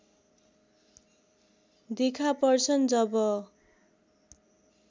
देखा पर्छन् जब